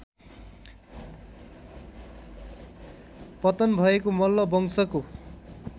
पतन भएको मल्लवंशको